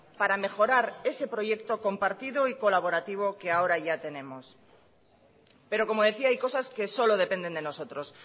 para mejorar ese proyecto compartido y colaborativo que ahora ya tenemos pero como decía hay cosas que solo dependen de nosotros